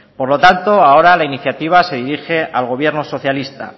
por lo tanto ahora la iniciativa se dirige al gobierno socialista